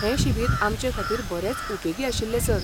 हें शिबीर आमचेखातीर बरेंच उपेगी आशिल्लें, सर.